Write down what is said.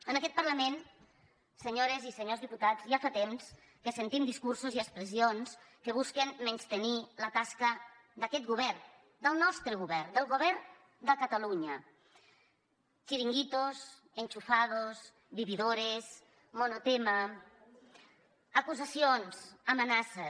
en aquest parlament senyores i senyors diputats ja fa temps que sentim discursos i expressions que busquen menystenir la tasca d’aquest govern del nostre govern del govern de catalunya chiringuitos acusacions amenaces